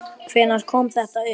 Hvenær kom þetta upp?